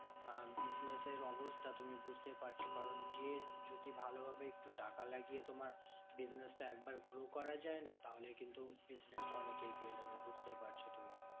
আহ business এর অবস্থা তুমি বুঝতেই পারছো কারণ যে যদি ভালোভাবে একটু টাকা লাগিয়ে তোমার business টা একবার grow করা যায় না? তাহলে কিন্তু business টা অনেক এগিয়ে যাবে বুঝতেই পারছো।